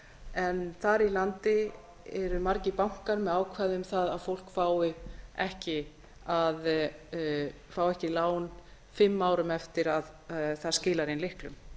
en þar í landi eru margir bankar með ákvæði um það að fólk fái ekki lán fimm árum eftir að það skilar inn lyklum